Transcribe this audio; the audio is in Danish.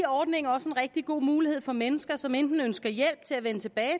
ordningen også en rigtig god mulighed for mennesker som enten ønsker hjælp til at vende tilbage